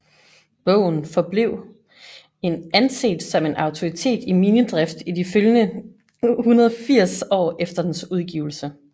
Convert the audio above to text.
Bogen forblev en anset som en autoritet i minedrift i de følgende 180 år efter dens udgivelse